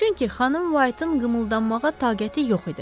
Çünki xanım Whiteın qımıldanmağa taqəti yox idi.